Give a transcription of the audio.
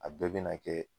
A bɛɛ bɛ na kɛ